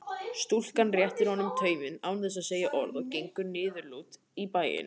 Stúlkan réttir honum tauminn án þess að segja orð og gengur niðurlút í bæinn.